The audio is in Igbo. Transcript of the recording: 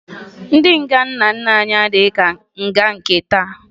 Nga ndị nna nna anyị adịghị ka nga nke taa